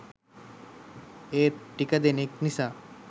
ඒත් ටික දෙනෙක් නිසා